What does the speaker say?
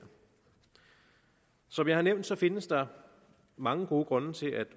som jeg har nævnt findes der mange gode grunde til at